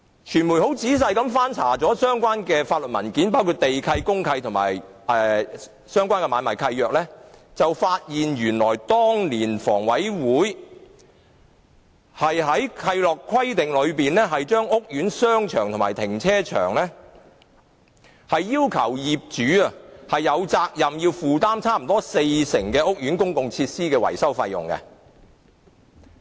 傳媒曾仔細翻查相關法律文件，包括地契、公契和相關的買賣契約，發現原來當年房委會在契諾規定中就屋苑商場和停車場要求業主負擔接近四成的屋苑公共設施維修費用。